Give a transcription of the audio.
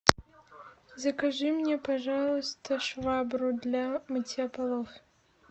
закажи мне пожалуйста швабру для мытья полов